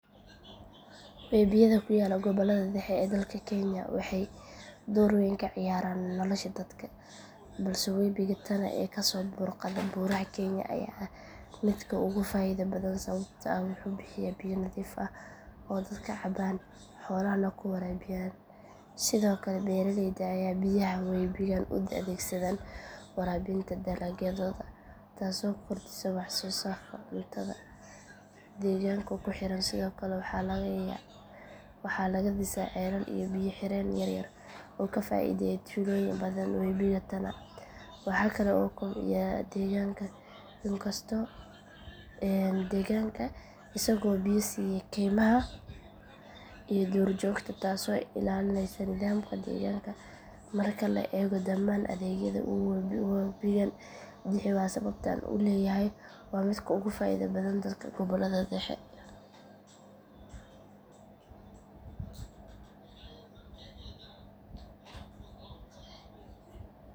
Webiyada ku yaalla gobollada dhexe ee dalka kenya waxay door weyn ka ciyaaraan nolosha dadka balse webiga tana ee kasoo burqada buuraha kenya ayaa ah midka dadka ugu faaido badan sababtoo ah wuxuu bixiyaa biyo nadiif ah oo dadka cabaan xoolahana ku waraabiyaan sidoo kale beeraleyda ayaa biyaha webigan u adeegsada waraabinta dalagyadooda taasoo kordhisa waxsoosaarka cuntada deegaanka ku xeeran sidoo kale waxaa laga dhisaa ceelal iyo biyo xireeno yaryar oo ka faaideeya tuulooyin badan webiga tana wuxuu kale oo kobciyaa deegaanka isagoo biyo siiya kaymaha iyo duurjoogta taasoo ilaalinaysa nidaamka deegaanka marka la eego dhammaan adeegyada uu webigan bixiyo waa sababta aan u leeyahay waa midka ugu faaido badan dadka gobollada dhexe.